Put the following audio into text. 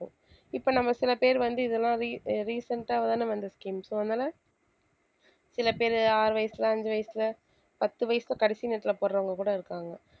இப்ப நம்ம சில பேர் வந்து இதெல்லாம் re~ recent ஆ தான வந்த scheme so அதனால சில பேரு ஆறு வயசுல அஞ்சு வயசுல பத்து வயசுல கடைசி நேரத்துல போடுறவங்க கூட இருக்காங்க